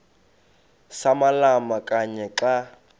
samalama kanye xa